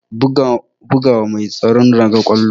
Buga wa mai tsaron raga ƙwallon.